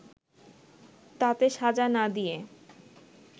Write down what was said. তাতে সাজা না দিয়ে